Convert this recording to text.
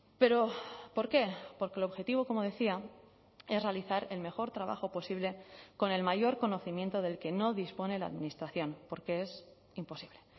pero por qué porque el objetivo como decía es realizar el mejor trabajo posible con el mayor conocimiento del que no dispone la administración porque es imposible